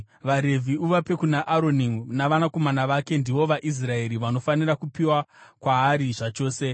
VaRevhi uvape kuna Aroni navanakomana vake; ndivo vaIsraeri vanofanira kupiwa kwaari zvachose.